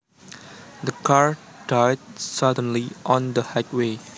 The car died suddenly on the highway